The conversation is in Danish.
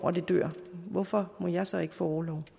hvorfor må jeg så ikke få orlov